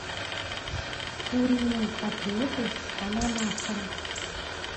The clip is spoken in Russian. куриные котлеты с ананасом